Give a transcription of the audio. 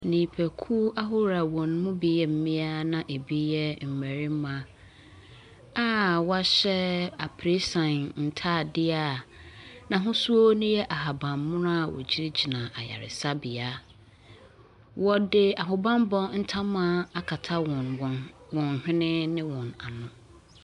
Nnipakuw ahorow bi a wɔn mu bi yɛ mmaa na bi yɛ mmarima a wɔahyɛ apresan ntaadeɛ a n'ahosuo no yɛ ahabanmono a wogyinagyina ayaresabea. Wɔde ahobanmmɔ akata wɔn wɔn hwene ne wɔn ano.